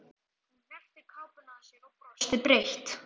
Hún hneppti kápunni að sér og brosti breitt.